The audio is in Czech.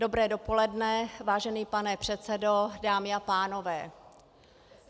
Dobré dopoledne, vážený pane předsedo, dámy a pánové.